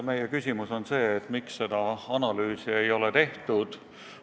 Meie küsimus on see, miks seda analüüsi ei ole tehtud.